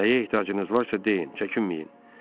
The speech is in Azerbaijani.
Nəyə ehtiyacınız varsa deyin, çəkinməyin.